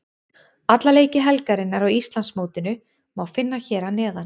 Alla leiki helgarinnar á Íslandsmótinu má finna hér að neðan.